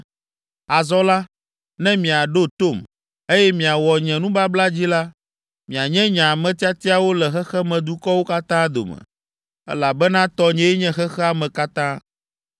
Azɔ la, ne miaɖo tom, eye miawɔ nye nubabla dzi la, mianye nye ame tiatiawo le xexemedukɔwo katã dome, elabena tɔnyee nye xexea me katã.